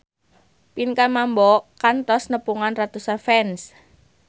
Pinkan Mambo kantos nepungan ratusan fans